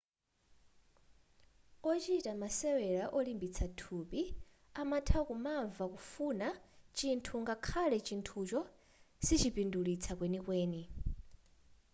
ochita masewera olimbitsa thupi amatha kumamva kufuna chinthu ngakhale chinthucho sichipindulitsa kwenikweni